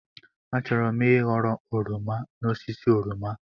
Achọrọ m ịghọrọ oroma n'osisi oroma.